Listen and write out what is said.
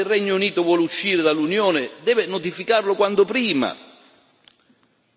Ci vuole rapidità e se il Regno Unito vuole uscire dall'Unione, deve notificarlo quanto prima.